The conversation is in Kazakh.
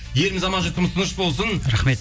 еліміз аман жұртымыз тыныш болсын рахмет